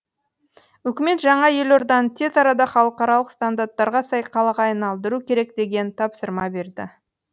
үкімет жаңа елорданы тез арада халықаралық стандарттарға сай қалаға айналдыру керек деген тапсырма берді